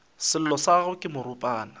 sello sa gagwe ke moropana